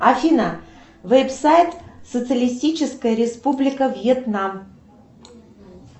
афина веб сайт социалистическая республика вьетнам